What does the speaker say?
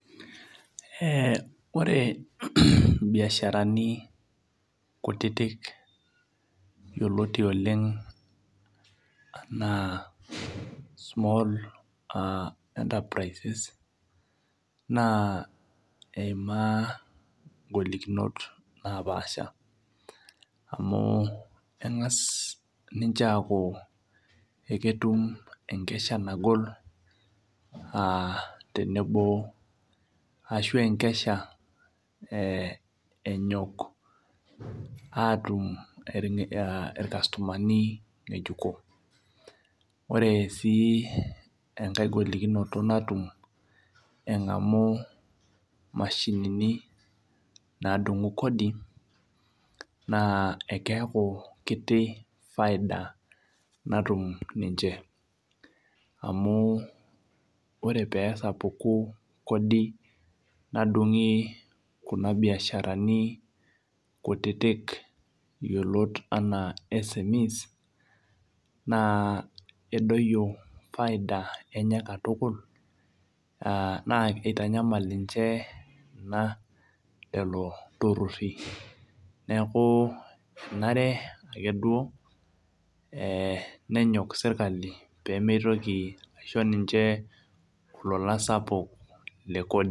Ee ore mbiasharani kutitik yioloti oleng ana small enterprises na eimaa ngolikinot amu engas ninche aaku ketuk enkesha nagol tenebo aa enkesha enyok aatum irkastomani ngejuko ore si enkae golikino natum engamu mashinini nadumu kodi na ekeaku kiti faida natum ninche amo ore pesapuki kodi nadungi kuna biasharani kutitik yiolot ana na edoyio faida enye katukul na kitanyamal ninche kuna neaku enare ake duo nenyok serkali pemitoki aisho ninche lolan sapuk lekodi.